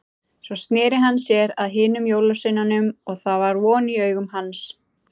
Svo sneri hann sér að hinum jólasveinunum og það var von í augum hans.